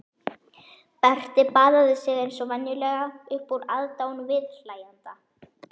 Berti baðaði sig eins og venjulega upp úr aðdáun viðhlæjenda.